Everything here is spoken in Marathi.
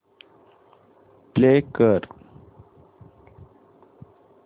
प्ले कर